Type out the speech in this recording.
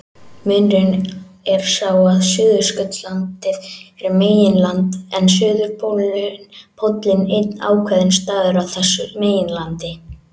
Munurinn er sá að Suðurskautslandið er meginland en suðurpóllinn einn ákveðinn staður á þessu meginlandi.